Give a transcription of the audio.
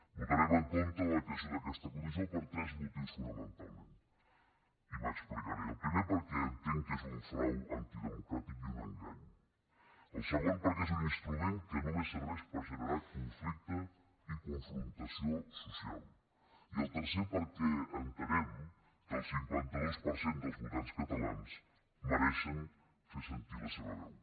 votarem en contra de la creació d’aquesta comissió per tres motius fonamentalment i m’explicaré el primer perquè entenc que és un frau antidemocràtic i un engany el segon perquè és un instrument que només serveix per generar conflicte i confrontació social i el tercer perquè entenem que el cinquanta dos per cent dels votants catalans mereixen fer sentir la seva veu